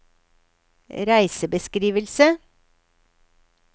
reisebeskrivelse